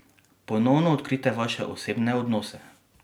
Ponovno odkrijte vaše osebne odnose!